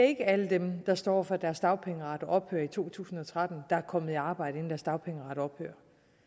ikke er alle dem der står over for at deres dagpengeret ophører i to tusind og tretten der er kommet i arbejde inden deres dagpengeret ophører